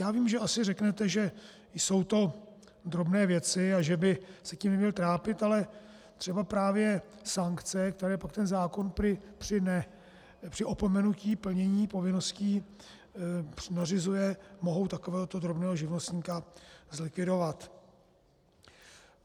Já vím, že asi řeknete, že jsou to drobné věci a že by se tím neměl trápit, ale třeba právě sankce, které pak ten zákon prý při opomenutí plnění povinností nařizuje, mohou takovéhoto drobného živnostníka zlikvidovat.